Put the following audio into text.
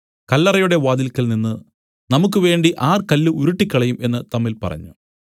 കല്ലറയുടെ വാതിൽക്കൽ നിന്നു നമുക്കുവേണ്ടി ആർ കല്ല് ഉരുട്ടിക്കളയും എന്നു തമ്മിൽ പറഞ്ഞു